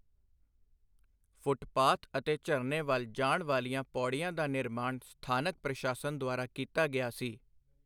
Footpath ਅਤੇ ਝਰਨੇ ਵੱਲ ਜਾਣ ਵਾਲੀਆਂ ਪੌੜੀਆਂ ਦਾ ਨਿਰਮਾਣ ਸਥਾਨਕ ਪ੍ਰਸ਼ਾਸਨ ਦੁਆਰਾ ਕੀਤਾ ਗਿਆ ਸੀ।